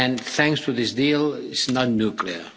Thanks to this deal, it's not nuclear.